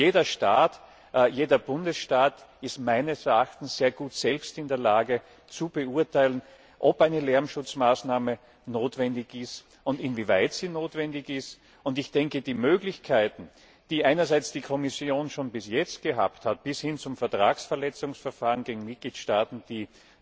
Jeder Staat, jeder Bundesstaat ist meines Erachtens sehr gut selbst in der Lage zu beurteilen, ob eine Maßnahme notwendig und inwieweit sie notwendig ist, und ich denke, die Möglichkeiten, die einerseits die Kommission schon bis jetzt gehabt hat, bis hin zum Vertragsverletzungsverfahren gegen Mitgliedstaaten,